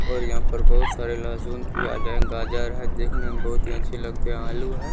और यहाँ पर बहुत सारे लहसुन प्याज है गाजर है। देखने में बहुत ही अच्छे लगते हैं आलू है।